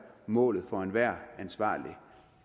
målet for enhver ansvarlig